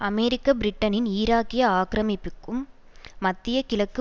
அமெரிக்கபிரிட்டனின் ஈராக்கிய ஆக்கிரமிப்புக்கும் மத்திய கிழக்கு